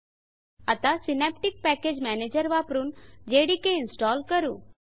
JDK आता Synaptic package manager वापरुन JDK install करू